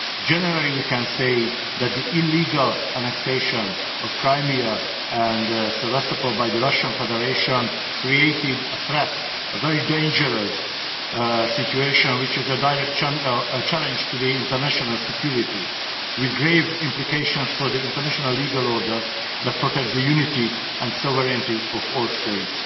Generally, we can say that the illegal annexation of Crimea and Sebastopol by the Russian Federation created a threat, a very dangerous situation, which is a direct challenge to international security, with grave implications for the international legal order that protects the unity and sovereignty of all states.